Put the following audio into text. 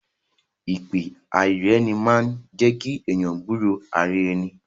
Ìpè àìríraeni máa ń jẹ́kí èèyàn gbúro ara ẹni